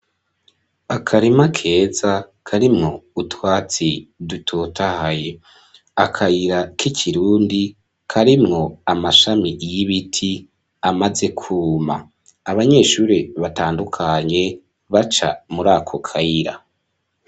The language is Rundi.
Akarima keza karimwo utwatsi dutotahaye, akayira k'ikirundi karimwo amashami y'ibiti amaze kwuma, abanyeshuri batandukanye baca murako kayira.